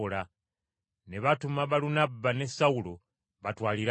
ne batuma Balunabba ne Sawulo batwalire abakadde.